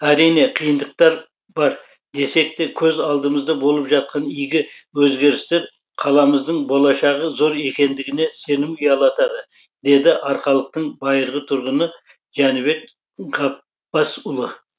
әрине қиындықтар бар десек те көз алдымызда болып жатқан игі өзгерістер қаламыздың болашағы зор екендігіне сенім ұялатады дейді арқалықтың байырғы тұрғыны жәнібек ғапбасұлы